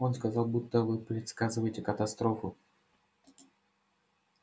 он сказал будто вы предсказываете катастрофу